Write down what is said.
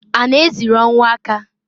A na eziri ọnwụ aka?